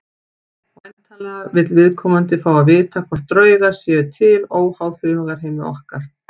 Væntanlega vill viðkomandi fá að vita hvort draugar séu til óháð hugarheimi okkar.